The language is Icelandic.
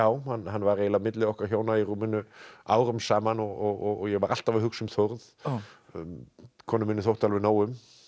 hann var eiginlega milli okkar hjóna í rúminu árum saman og ég var alltaf að hugsa um Þórð konu minni þótti alveg nóg um